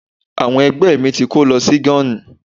ìyàwó Egbe mi ti ko lo sí gani